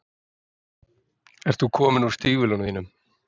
Ert þú kominn úr stígvélunum þínum?